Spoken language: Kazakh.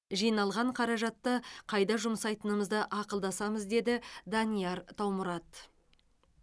жиналған қаражатты қайда жұмсайтынымызды ақылдасамыз деді данияр таумұрат